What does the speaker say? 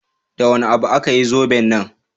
Da wani abu aka yi zoben nan?